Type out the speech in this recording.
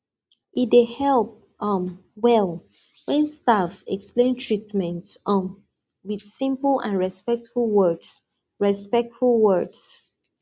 e dey help um well when staff explain treatment um with simple and respectful words respectful words